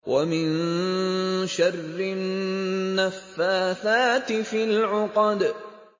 وَمِن شَرِّ النَّفَّاثَاتِ فِي الْعُقَدِ